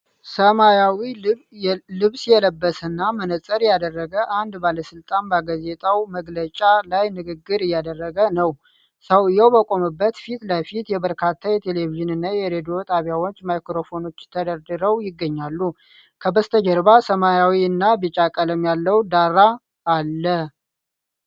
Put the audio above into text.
ሰማያዊ ልብስ የለበሰና መነፅር ያደረገ አንድ ባለስልጣን በጋዜጣዊ መግለጫ ላይ ንግግር እያደረገ ነው። ሰውዬው በቆመበት ፊት ለፊት የበርካታ የቴሌቪዥንና የሬዲዮ ጣቢያዎች ማይክሮፎኖች ተደርድረው ይገኛሉ። ከበስተጀርባ ሰማያዊና ቢጫ ቀለም ያለው ዳራ አለ።